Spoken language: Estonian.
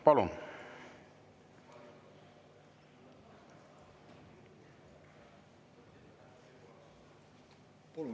Palun!